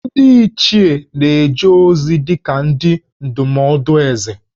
Ndị Ichie na-eje ozi dị ka ndị ndụmọdụ Ézè